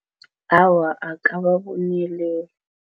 Awa, akababoneleli.